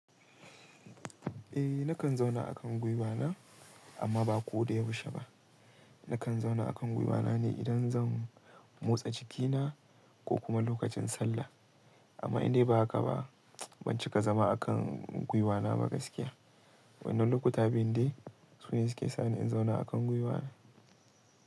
Eh nakan zauna a kan gwiwa na amma ba ko da yaushe ba. Nakan zauna a kan gwiwa na ne idan zan motsa cikina ko kuma lokacin sallah. Amma indai ba haka ba ban cika zama a kan gwiwa na ba gaskiya. Wannan lokuta biyu dai su ne suke sa ni in zauna a kan gwiwa na.